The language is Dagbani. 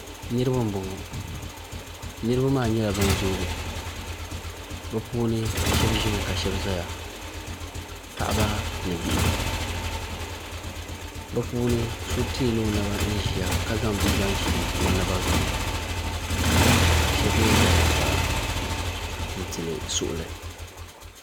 niriba m bɔŋɔ niriba maa nyɛla ban zuugi bi puuni shɛbi mi ka shɛbi doya paɣ' ba ni bihi be puuni so tɛɛla o naba ʒɛya ka zaŋ bia zaŋ ʒɛlio naba zuɣ' ma shɛbi mi za zuɣ' saa n tɛli suɣ' li